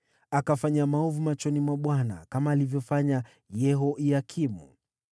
Alifanya maovu machoni pa Bwana , kama alivyofanya Yehoyakimu.